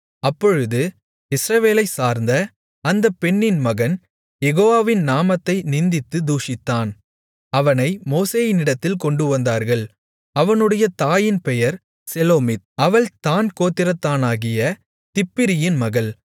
அப்பொழுது இஸ்ரவேலைச் சார்ந்த அந்தப் பெண்ணின் மகன் யெகோவாவின் நாமத்தை நிந்தித்துத் தூஷித்தான் அவனை மோசேயினிடத்தில் கொண்டுவந்தார்கள் அவனுடைய தாயின் பெயர் செலோமித் அவள் தாண் கோத்திரத்தானாகிய திப்ரியின் மகள்